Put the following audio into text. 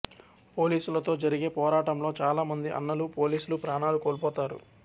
పోలీసులతో జరిగే పోరాటంలో చాలా మంది అన్నలు పోలీసులు ప్రాణాలు కోల్పోతారు